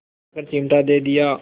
बुलाकर चिमटा दे दिया